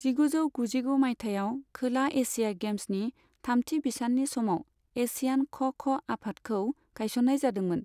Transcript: जिगुजौ गुजिगु माइथायाव, खोला एशिया गेम्सनि थामथि बिसाननि समाव एशियान ख' ख' आफादखौ गायसन्नाय जादोंमोन।